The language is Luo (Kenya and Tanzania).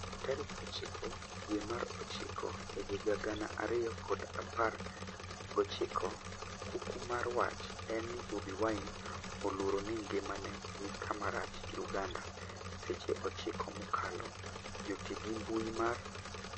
tarik ochiko dwe mar ochiko ehiga gana ariyo kod apar gochiko, kuku mar wach en ni Bobi Wine oluoro ni ngimane ni kama rach' Uganda Seche ochiko mokalo. Joti gi mbui mar I